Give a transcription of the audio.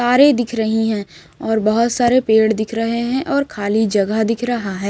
कारे दिख रही हैं और बहोत सारे पेड़ दिख रहे हैं और खाली जगह दिख रहा है।